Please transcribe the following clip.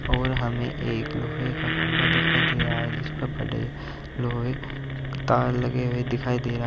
और हमें एक लोहे का खंभा दिखाई दे रहा है जिसपर बड़े लोहे तार लगे हुए दिखाई दे रहा है।